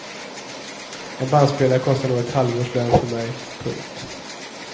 En bandspelare kostar nog en halvårs lön för mig. punkt